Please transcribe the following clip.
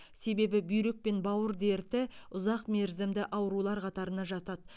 себебі бүйрек пен бауыр дерті ұзақ мерзімді аурулар қатарына жатады